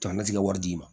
Jamana ti ka wari d'i ma